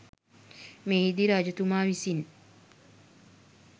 මෙහිදී රජතුමා විසින්